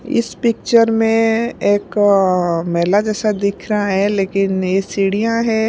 इस पिक्चर में एक अअ मेला जैसा दिख रहा है लेकिन ये सीढ़ियाँ है।